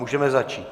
Můžeme začít.